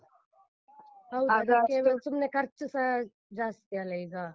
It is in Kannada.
ಸುಮ್ನೆ ಖರ್ಚುಸ ಜಾಸ್ತಿ ಅಲ್ಲ ಈಗ.